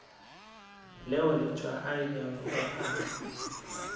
leo letšwa a ilego a